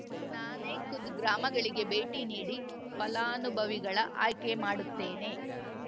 ನಾನೇ ಖುದ್ ಗ್ರಾಮಗಳಿಗೆ ಭೇಟಿ ನೀಡಿ ಫಲಾನುಭವಿಗಳ ಆಯ್ಕೆ ಮಾಡುತ್ತೇನೆ